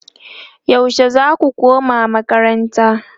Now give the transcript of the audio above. yaushe zaku koma makaranta?